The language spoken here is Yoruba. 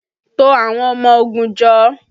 To àwọn ọmọ ogun jọ!